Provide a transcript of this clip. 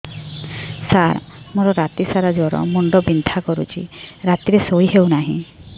ସାର ମୋର ରାତି ସାରା ଜ୍ଵର ମୁଣ୍ଡ ବିନ୍ଧା କରୁଛି ରାତିରେ ଶୋଇ ହେଉ ନାହିଁ